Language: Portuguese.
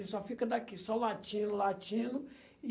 Ele só fica daqui, só latindo, latindo e...